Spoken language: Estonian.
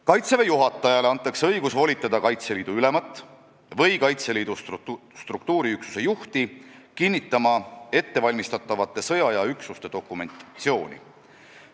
Kaitseväe juhatajale antakse õigus volitada Kaitseliidu ülemat või Kaitseliidu struktuuriüksuse juhti kinnitama ettevalmistatavate sõjaaja üksuste dokumentatsiooni.